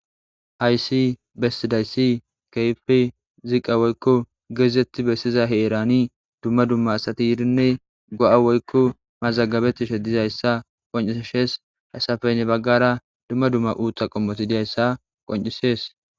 hayssi bessidayssi keyfi ziqa woykko geezetti bessiza heerani dumma dumma asati yirinne go7a woykko mazagabeti she dizayssa qonciishees hasafeynne baggara dumma dumma uutha qommoti diyayssa qoncisees